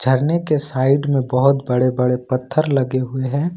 झरने के साइड में बहुत बड़े बड़े पत्थर लगे हुए हैं।